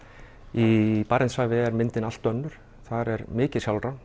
í Barentshafi er myndin allt önnur þar er mikið